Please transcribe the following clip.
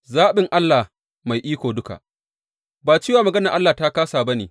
Zaɓin Allah mai iko duka Ba cewa maganar Allah ta kāsa ba ne.